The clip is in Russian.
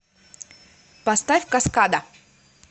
поставь каскада